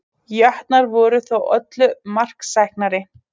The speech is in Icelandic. Jötnar voru þó öllu marksæknari